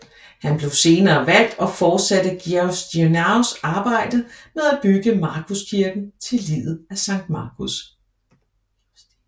Han blev senere valgt og forsatte Giustinianos arbejde med at bygge Markuskirken til liget af Sankt Markus